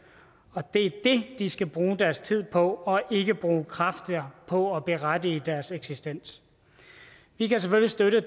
og det er det de skal bruge deres tid på og ikke bruge kræfter på at berettige deres eksistens vi kan selvfølgelig støtte